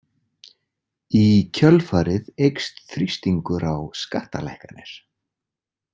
Í kjölfarið eykst þrýstingur á skattalækkanir.